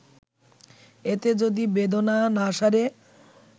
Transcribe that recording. এতে যদি বেদনা না সারে